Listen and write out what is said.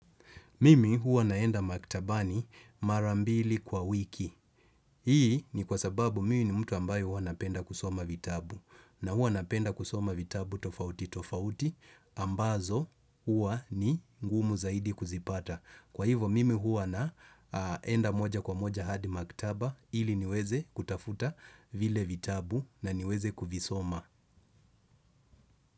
Mimi huwa naenda maktabani mara mbili kwa wiki. Hii ni kwa sababu mi ni mtu ambayo huwa napenda kusoma vitabu. Na huwa napenda kusoma vitabu tofauti tofauti ambazo huwa ni ngumu zaidi kuzipata. Kwa hivo mimi huwa naenda moja kwa moja hadi maktaba ili niweze kutafuta vile vitabu na niweze kufisoma.